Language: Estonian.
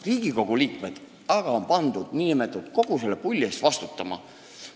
Riigikogu liikmed aga on pandud kogu selle n-ö pulli eest vastutama.